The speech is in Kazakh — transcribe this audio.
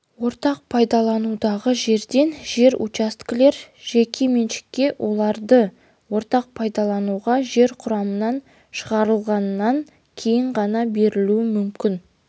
ортақ пайдаланудағы жерден жер учаскелер жеке меншікке оларды ортақ пайдаланудағы жер құрамынан шығарғаннан кейін ғана берілуі мүмкін